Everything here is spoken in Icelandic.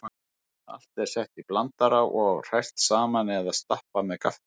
Allt er sett í blandara og hrært saman eða stappað með gaffli.